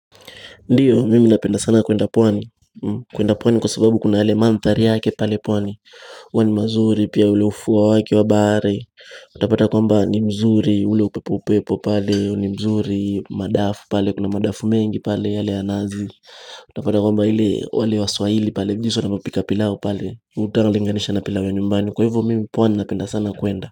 Ndiyo, mimi napenda sana kwenda pwani, kwenda pwani kwa sababu kuna yale manthari yake pale pwani huwa ni mazuri, pia ule ufua wake wa bahari. Utapata kwamba ni mzuri, ule upepo upepo pale, ni mzuri, madafu pale, kuna madafu mengi pale yale ya nazi Utapata kwamba ile, wale waswahili pale, jinsi wanavyopika pilau pale, hutangalinganisha na pilau ya nyumbani. Kwa hivyo, mimi pwani napenda sana kwenda.